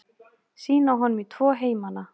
Sýna honum í tvo heimana.